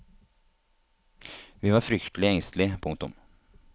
Vi var fryktelig engstelige. punktum